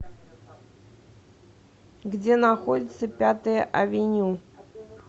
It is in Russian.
где находится пятая авеню